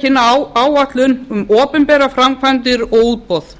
kynna áætlun um opinberar framkvæmdir og útboð